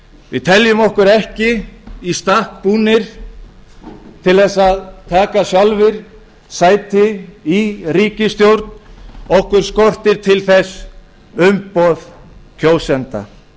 við teljum okkur ekki í stakk búna til þess að taka sjálfir sæti í ríkisstjórn okkur skortir til þess umboð kjósenda